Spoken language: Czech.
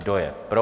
Kdo je pro?